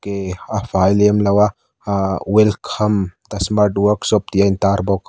a fai lem lo a ahh welcome the smart workshop tih a in tar bawk.